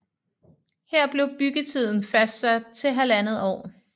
Her blev byggetiden fastsat til halvandet år